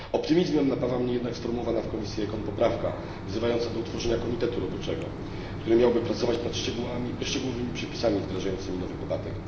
Optymizmem napawa mnie jednak sformułowana w komisji ECON poprawka wzywająca do utworzenia komitetu roboczego, który miałby pracować nad szczegółowymi przepisami wdrażającymi nowy podatek.